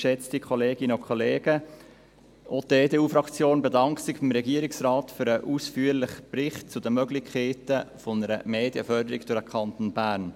Auch die EDU-Fraktion bedankt sich beim Regierungsrat für den ausführlichen Bericht zu den Möglichkeiten einer Medienförderung durch den Kanton Bern.